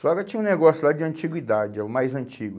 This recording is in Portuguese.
Só que tinha um negócio lá de antiguidade, é o mais antigo.